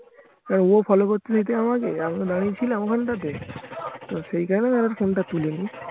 এবার ও follow করতে দেখে আমাকে আমি বললাম আমি ছিলাম ওখানটাতে তো সেই কারণে আর ফোন টা তুলিনি